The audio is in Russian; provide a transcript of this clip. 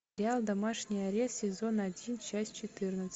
сериал домашний арест сезон один часть четырнадцать